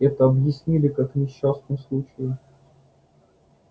это объяснили как несчастный случай